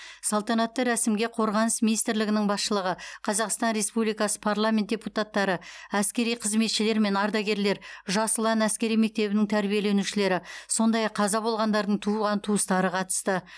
салтанатты рәсімге қорғаныс министрлігінің басшылығы қазақстан республикасы парламент депутаттары әскери қызметшілер мен ардагерлер жас ұлан әскери мектебінің тәрбиеленушілері сондай ақ қаза болғандардың туған туыстары қатысты